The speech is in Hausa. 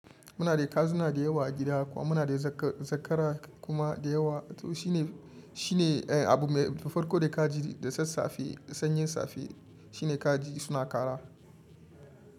Muna da kazuna da yawa a gida kuma muna da zakara kuma da yawa to shi ne, shi ne abu mai farko da ka ji da sassafe sanyin safe shi ne kaji suna kara.